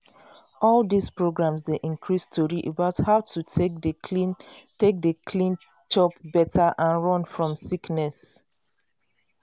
all dis programs dey increase tori about how to take dey clean take dey clean chop better and run fom sickness.